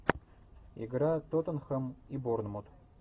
игра тоттенхэм и борнмут